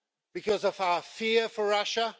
Because of our fear of Russia?